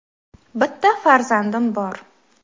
Bitta farzandim bor.